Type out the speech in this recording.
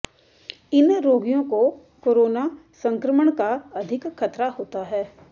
इन रोगियों को कोरोना संक्रमण का अधिक खतरा होता है